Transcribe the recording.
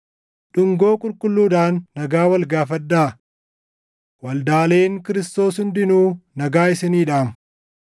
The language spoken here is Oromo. Dhungoo qulqulluudhaan nagaa wal gaafadhaa. Waldaaleen Kiristoos hundinuu nagaa isinii dhaamu.